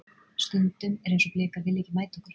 Stundum er eins og Blikar vilji ekki mæta okkur.